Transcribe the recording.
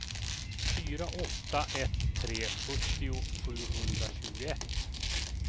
fyra åtta ett tre sjuttio sjuhundratjugoett